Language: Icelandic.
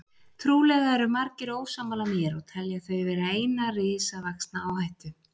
Trúlega eru margir ósammála mér og telja þau vera eina risavaxna áhættu.